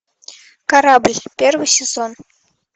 корабль первый сезон